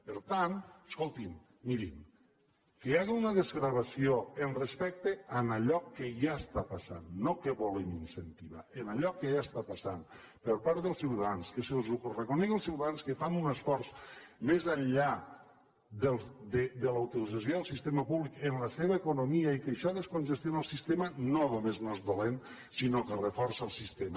per tant escolti’m miri que hi hagi una desgravació amb respecte a allò que ja està passant no que volen incentivar en allò que ja està passant per part dels ciutadans que se’ls reconegui als ciutadans que fan un esforç més enllà de la utilització del sistema públic en la seva economia i que això descongestiona el sistema no només no és dolent sinó que reforça el sistema